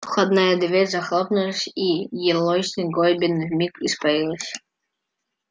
входная дверь захлопнулась и елейность горбина вмиг испарилась